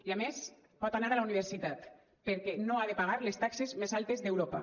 i a més pot anar a la universitat perquè no ha de pagar les taxes més altes d’europa